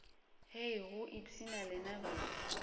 hei go ipshina lena baoki